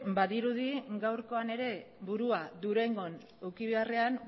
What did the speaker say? badirudi gaurkoan ere burua durangon eduki beharrean